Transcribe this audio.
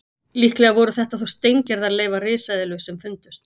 Líklega voru þetta þó steingerðar leifar risaeðlu sem fundust.